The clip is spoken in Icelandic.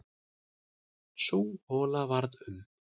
Sú hola varð um